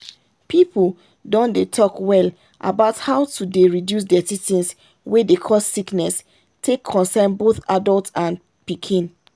people don dey talk well about how to to dey reduce dirty things wey dey cause sickness take concern both adult and pikin.